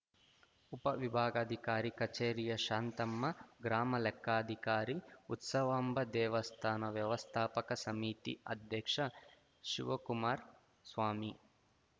ಉಪವಿಭಾಗಾಧಿಕಾರಿ ಕಚೇರಿಯ ಶಾಂತಮ್ಮ ಗ್ರಾಮ ಲೆಕ್ಕಾಧಿಕಾರಿ ಉತ್ಸವಾಂಬ ದೇವಸ್ಥಾನ ವ್ಯವಸ್ಥಾಪಕ ಸಮಿತಿ ಅಧ್ಯಕ್ಷ ಶಿವಕುಮಾರ್ ಸ್ವಾಮಿ